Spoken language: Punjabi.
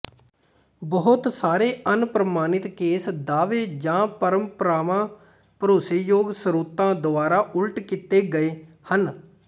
ਬਹੁਤ ਸਾਰੇ ਅਣਪ੍ਰਮਾਣਿਤ ਕੇਸ ਦਾਅਵੇ ਜਾਂ ਪਰੰਪਰਾਵਾਂ ਭਰੋਸੇਯੋਗ ਸਰੋਤਾਂ ਦੁਆਰਾ ਉਲਟ ਕੀਤੇ ਗਏ ਹਨ